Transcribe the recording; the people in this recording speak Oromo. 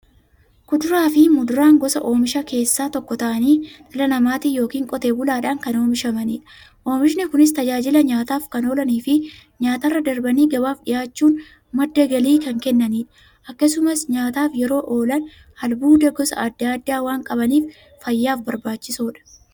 Kuduraafi muduraan gosa oomishaa keessaa tokko ta'anii, dhala namaatin yookiin Qotee bulaadhan kan oomishamaniidha. Oomishni Kunis, tajaajila nyaataf kan oolaniifi nyaatarra darbanii gabaaf dhiyaachuun madda galii kan kennaniidha. Akkasumas nyaataf yeroo oolan, albuuda gosa adda addaa waan qabaniif, fayyaaf barbaachisoodha.